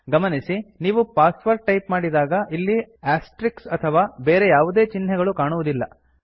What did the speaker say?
ಗಮನಿಸಿ ನೀವು password type ಮಾಡಿದಾಗ ಇಲ್ಲಿ ಆಸ್ಟ್ರಿಸ್ಕ್ ಅಥವಾ ಬೆರೆ ಯಾವುದೇ ಚಿಹ್ನೆಗಳು ಕಾಣುವುದಿಲ